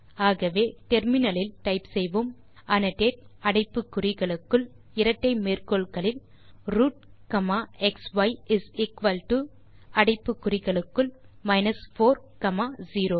ஆகவே முனையத்தில் டைப் செய்வோம் அன்னோடேட் அடைப்பு குறிகளுக்குள் இரட்டை மேற்கோள் குறிகளுக்குள் root comma xi is equal to அடைப்பு குறிகளுக்குள் மைனஸ் 4 காமா 0